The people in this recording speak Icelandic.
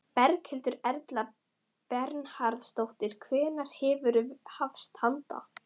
Berghildur Erla Bernharðsdóttir: Hvenær verður hafist handa?